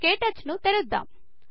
క్టచ్ ను తెరుద్దం